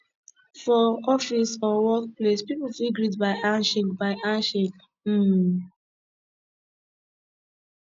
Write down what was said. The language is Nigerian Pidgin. for office or work place pipo fit greet by handshake by handshake um